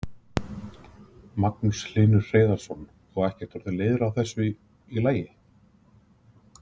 Magnús Hlynur Hreiðarsson: Og ekkert orðinn leiður á þessu lagi?